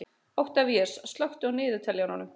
Oktavías, slökktu á niðurteljaranum.